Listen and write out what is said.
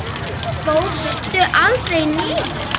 Fórstu aldrei niður?